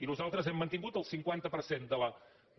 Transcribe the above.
i nosal·tres hem mantingut el cinquanta per cent